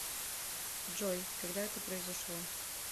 джой когда это произошло